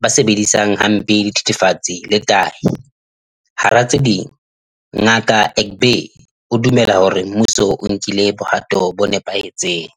ba sebedisang hampe dithethefatsi le tahi, hara tse ding, Ngaka Egbe o dumela hore mmuso o nkile bohato bo nepahetseng.